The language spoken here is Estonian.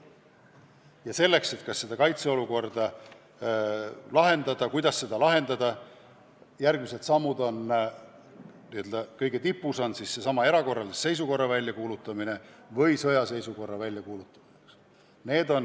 Ja et seda kaitseolukorda lahendada, tuleb otsustada järgmised sammud, millest n-ö kõige tipus on erakorralise seisukorra väljakuulutamine või sõjaseisukorra väljakuulutamine.